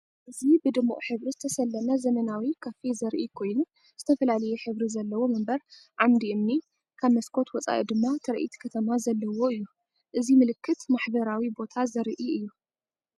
እዚ ብድሙቕ ሕብሪ ዝተሰለመ ዘመናዊ ካፌ ዘርኢ ኮይኑ፡ ዝተፈላለየ ሕብሪ ዘለዎ መንበር፡ ዓምዲ እምኒ፡ ካብ መስኮት ወጻኢ ድማ ትርኢት ከተማ ዘለዎ እዩ። እዚ ምልክት ማሕበራዊ ቦታ ዘርኢ እዩ።